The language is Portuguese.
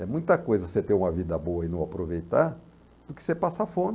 É muita coisa você ter uma vida boa e não aproveitar do que você passar fome.